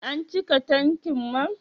An cika tankin man?